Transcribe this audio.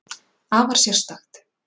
Afar sérstakt.